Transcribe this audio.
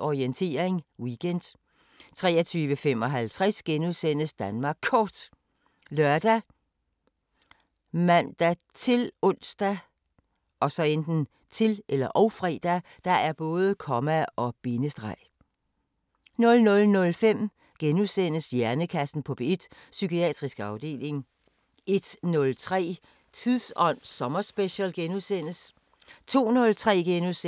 Orientering Weekend * 23:55: Danmark Kort *( lør, man-ons, -fre) 00:05: Hjernekassen på P1: Psykiatrisk afdeling * 01:03: Tidsånd sommerspecial * 02:03: Supertanker: Vi lever, til vi bliver 1000 år! Tusind!! * 03:03: Sigges sommer: Kuldsejlede politiske planer * 04:03: Orientering Weekend * 04:53: Danmark Kort *